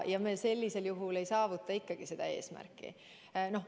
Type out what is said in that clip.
Ja sellisel juhul me eesmärki ei saavuta.